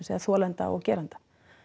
eða þolenda og gerenda